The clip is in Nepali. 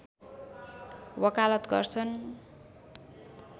वकालत गर्छन्